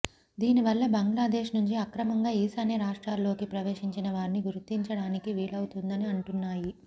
దీనివల్ల బంగ్లాదేశ్ నుంచి అక్రమంగా ఈశాన్య రాష్ట్రాల్లోకి ప్రవేశించిన వారిని గుర్తించడానికి వీలవుతుందని అంటున్నాయి